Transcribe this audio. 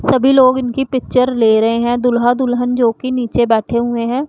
सभी लोग इनकी पिक्चर ले रहे हैं दूल्हा दुल्हन जो कि नीचे बैठे हुए हैं।